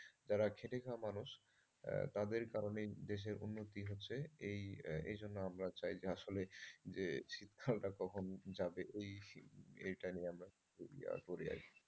যারা খেটে খাওয়া মানুষ তাদের কারণেই দেশের উন্নতি হচ্ছে। এই এইজন্য আমরা চাই যে আসলে যে শীতকালটা কখন যাবে ওই এটা নিয়ে আমরা খুবই করি আর কি।